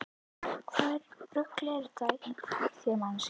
Hvaða rugl er þetta í þér manneskja!